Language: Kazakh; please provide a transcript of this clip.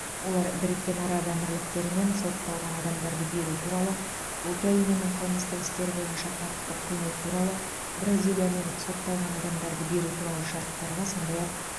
олар біріккен араб әмірліктерімен сотталған адамдарды беру туралы украинамен қылмыстық істер бойынша құқықтық көмек туралы бразилиямен сотталған адамдарды беру туралы шарттарға сондай ақ